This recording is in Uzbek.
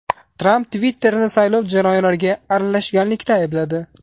Tramp Twitter’ni saylov jarayonlariga aralashganlikda aybladi.